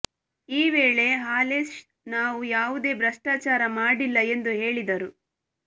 ಈ ವೇಳೆ ಹಾಲೇಶ್ ನಾವು ಯಾವುದೇ ಭ್ರಷ್ಟಾಚಾರ ಮಾಡಿಲ್ಲ ಎಂದು ಹೇಳಿದರು